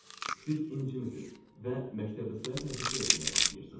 Siz incimisiz və məktəbli sayaq hərəkətlər etməyə başlayırsız.